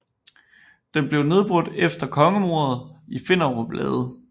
Den blev nedbrudt efter kongemordet i Finderup Lade